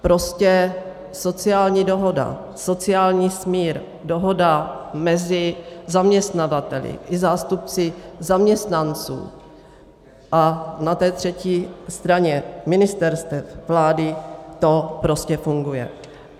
Prostě sociální dohoda, sociální smír, dohoda mezi zaměstnavateli i zástupci zaměstnanců a na té třetí straně ministerstev, vlády, to prostě funguje.